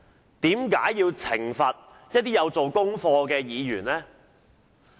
為何主席要懲罰一些願意做功課的議員呢？